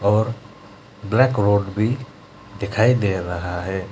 और black road भी दिखाई दे रहा है।